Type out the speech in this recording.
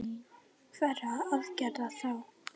Hverra aðgerða þá?